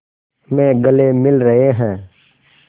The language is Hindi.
में गले मिल रहे हैं